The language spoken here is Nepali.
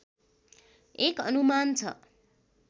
एक अनुमान छ